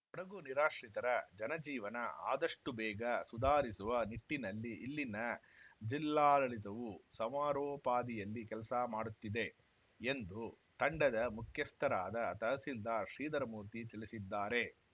ಕೊಡಗು ನಿರಾಶ್ರಿತರ ಜನಜೀವನ ಆದಷ್ಟುಬೇಗ ಸುಧಾರಿಸುವ ನಿಟ್ಟಿನಲ್ಲಿ ಇಲ್ಲಿನ ಜಿಲ್ಲಾಡಳಿತವೂ ಸಮರೋಪಾದಿಯಲ್ಲಿ ಕೆಲಸ ಮಾಡುತ್ತಿದೆ ಎಂದು ತಂಡದ ಮುಖ್ಯಸ್ಥರಾದ ತಹಸೀಲ್ದಾರ್‌ ಶ್ರೀಧರಮೂರ್ತಿ ತಿಳಿಸಿದ್ದಾರೆ